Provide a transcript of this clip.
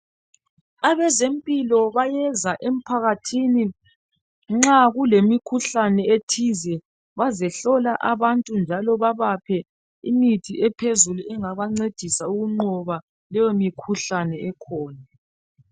Abezempilo bayeza emphakathini nxa kulemikhuhlane ethize bazohlola abantu Njalo babaphe imithi ephezulu engabancedisa ukunqoba leyo mikhuhlane.